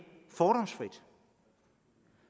fordomsfrit